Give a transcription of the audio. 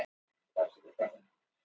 Saga Dómkirkjunnar.